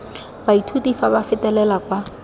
baithuti fa ba fetela kwa